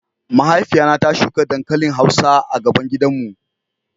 Mahaifiya na ta shuka dankalin hausa a gaban gidan mu.